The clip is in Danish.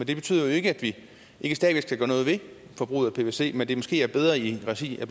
det betyder ikke at vi ikke stadig væk skal gøre noget ved forbruget af pvc men det er måske bedre i regi af